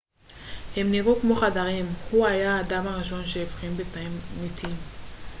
הם נראו כמו חדרים הוא היה האדם הראשון שהבחין בתאים מתים